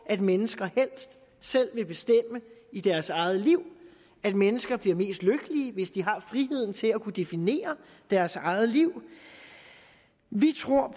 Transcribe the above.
at mennesker helst selv vil bestemme i deres eget liv at mennesker bliver mest lykkelige hvis de har friheden til at kunne definere deres eget liv vi tror